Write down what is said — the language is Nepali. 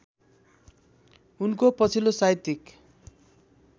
उनको पछिल्लो साहित्यिक